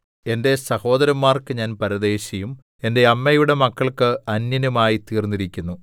എന്റെ സഹോദരന്മാർക്ക് ഞാൻ പരദേശിയും എന്റെ അമ്മയുടെ മക്കൾക്ക് അന്യനും ആയി തീർന്നിരിക്കുന്നു